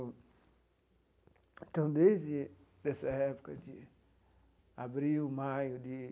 Então, desde essa época de abril, maio de,